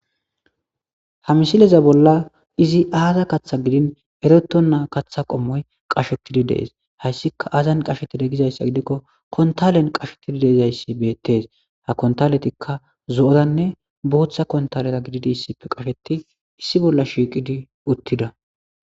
ha misileza bolla izi aaza kaththa gidin ereto naa katha qommoy qashetidi dees hayssika aazan qashetida gizayssa gidikko kontalen qashetidi deezayssi beettees ha kontaletikka zo7oranne booththa kontalera gididi issife qasheti issi bolla shiiqidi uttida